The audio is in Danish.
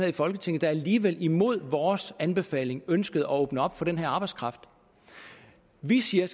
i folketinget der alligevel imod vores anbefaling ønskede at åbne op for den her arbejdskraft vi siger